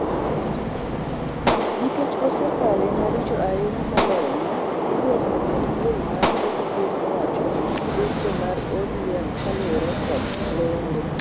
nikech osekale maricho ahinya moloyo maa," Julius ,jatend duol ma keto piny owacho tesre mar ODM ,kaluwore kod lendo